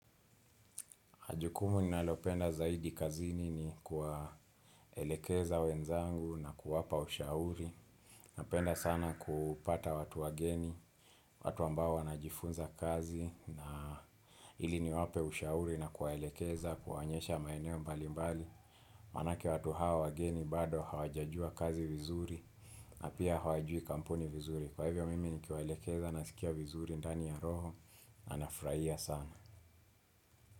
Jukumu ninalopenda zaidi kazini ni kuwaelekeza wenzangu na kuwapa ushauri. Napenda sana kupata watu wageni, watu ambao wanajifunza kazi na ili niwape ushauri na kuwaelekeza, kuwaonyesha maeneo mbali mbali. Maana yake watu hawa wageni bado hawajajua kazi vizuri na pia hawajui kampuni vizuri. Kwa hivyo mimi nikiwaelekeza na sikia vizuri ndani ya roho na nafurahia sana.